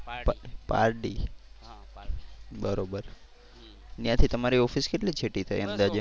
ત્યાંથી તમારી ઓફિસ કેટલી છેટી થાય અંદાજે.